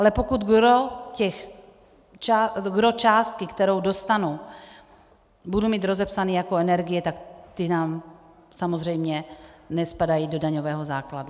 Ale pokud gros částky, kterou dostanu, budu mít rozepsáno jako energie, tak ty nám samozřejmě nespadají do daňového základu.